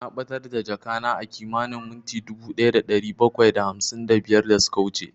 Na ɓatar da jakana a kimanin minti dubu ɗaya da ɗari bakwai da hamsin da biyar da suka wuce